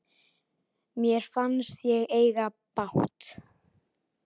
Mér fannst ég eiga bágt.